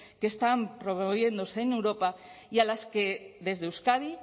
que están promoviéndose en europa y a las que desde euskadi